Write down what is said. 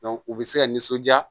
u bɛ se ka nisɔndiya